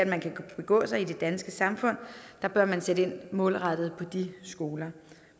man kan begå sig i det danske samfund bør man sætte ind målrettet på de skoler